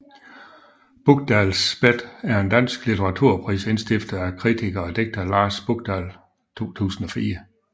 Bukdahls Bet er en dansk litteraturpris indstiftet af kritiker og digter Lars Bukdahl i 2004